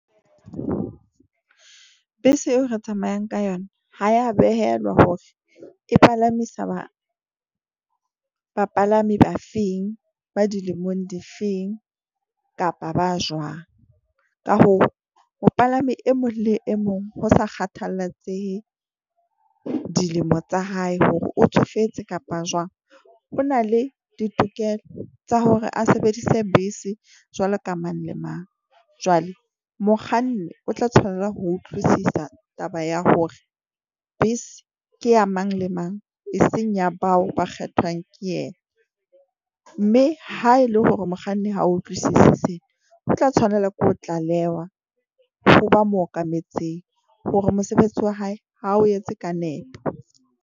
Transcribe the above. Bese eo re tsamayang ka yona ha ya behelwa hore e palamisa ba bapalami ba feng ba dilemong di feng kapa ba jwang. Ka hoo mopalami e mong le e mong ho sa kgathallatsehe dilemo tsa hae hore o tsofetse kapa jwang. O na le ditokelo tsa hore a sebedise bese jwalo ka mang le mang. Jwale mokganni o tla tshwanela ho utlwisisa taba ya hore bese ke ya mang le mang. Eseng ya bao ba kgethwang ke yena mme ha ele hore mokganni ha utlwisise sena, o tla tshwanela ke ho tlalehwa ho ba mo okametseng hore mosebetsi wa hae ha o etse ka nepo.